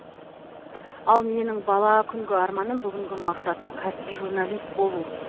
ал менің бала күнгі арманым бүгінгі мақсатым кәсіби журналист болу